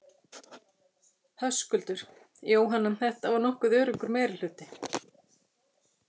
Höskuldur: Jóhanna, þetta var nokkuð öruggur meirihluti?